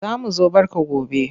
Za mu zo barka gone.